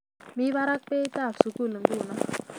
Mi barak beitab tuguk nguno